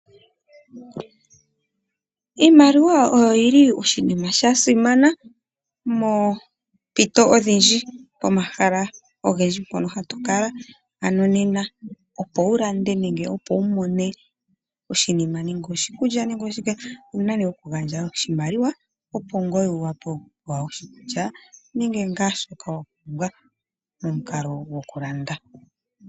Iimaliwa oyo yili oshinima sha simana moompito odhindji. Pomahala ogendji mpono ha tu kala, ano nena opo wu lande nenge opo wu mone oshinima ngaashi oshikulya owu na okugandja oshimaliwa opo wu pewe oshinima shoka wa pumbwa momukalo gwokulanda.